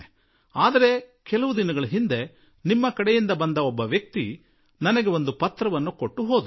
ಆದರೆ ಕೆಲವು ದಿನಗಳ ಹಿಂದೆ ನಿಮ್ಮ ಕಡೆಯವರೊಬ್ಬ ವ್ಯಕ್ತಿ ಬಂದರು ಹಾಗೂ ನನಗೆ ನೀವು ಬರೆದ ಒಂದು ಪತ್ರ ಕೊಟ್ಟು ಹೋದರು